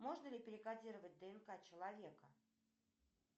можно ли перекодировать днк человека